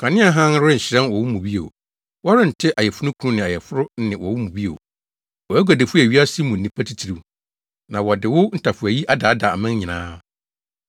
Kanea hann renhyerɛn wɔ wo mu bio. Wɔrente ayeforokunu ne ayeforo nne wɔ wo mu bio. Wʼaguadifo yɛ wiase mu nnipa atitiriw. Na wɔde wo ntafowayi adaadaa aman nyinaa.